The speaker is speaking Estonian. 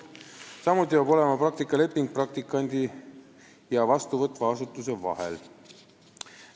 Samuti peab olema sõlmitud praktikaleping praktikandi ja vastuvõtva asutuse vahel.